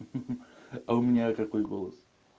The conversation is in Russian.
а у меня какой голос